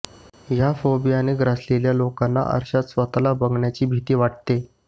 ह्या फोबियाने ग्रासलेल्या लोकांना आरश्यात स्वतःला बघण्याची भीती वाटते